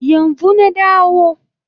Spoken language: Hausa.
Yanzu na dawo